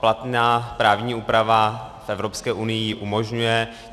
Platná právní úprava v Evropské unii ji umožňuje.